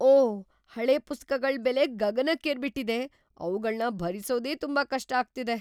ಓಹ್! ಹಳೆ ಪುಸ್ತಕಗಳ್ ಬೆಲೆ ಗಗನಕ್ಕೇರ್ಬಿಟಿದೆ. ಅವ್ಗಳ್ನ ಭರಿಸೋದೇ ತುಂಬಾ ಕಷ್ಟ ಆಗ್ತಾ ಇದೆ.